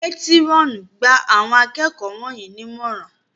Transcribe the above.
Métírọ̀nù! Gba Àwọn akẹ́kọ̀ọ́ wọ̀nyí ní ìmọ̀ràn!